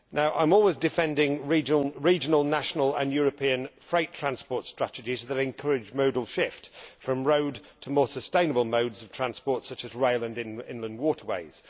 I am always defending regional, national and European freight transport strategies that encourage a modal shift from road to more sustainable modes of transport, such as rail and inland waterways.